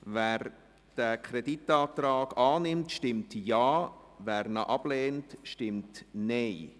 Wer den Kreditantrag annimmt, stimmt Ja, wer diesen ablehnt, stimmt Nein.